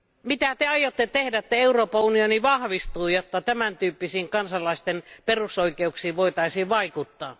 Mitä Te aiotte nyt tehdä, jotta Euroopan unioni vahvistuu ja jotta tämän tyyppisiin kansalaisten perusoikeuksiin voitaisiin vaikuttaa?